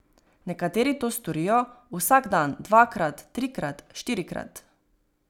Nekateri to storijo vsak dan dvakrat, trikrat, štirikrat.